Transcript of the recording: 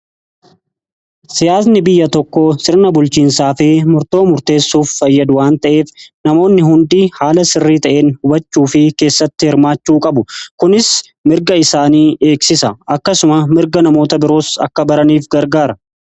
Siyaasni biyya tokko sirna bulchiinsaa fi murtoo murteessuuf fayyadu waan ta'eef namoonni hundi haala sirrii ta'een hubachuu fi keessatti hirmaachuu qabu. Kunis mirga isaanii eegsisa akkasuma mirga namoota biroos akka baraniif gargaara.